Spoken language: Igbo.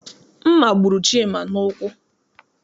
Mma gburu Chima n'ụkwụ.